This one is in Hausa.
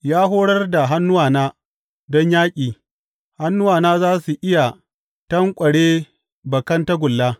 Ya horar da hannuwana don yaƙi; hannuwana za su iya tanƙware bakan tagulla.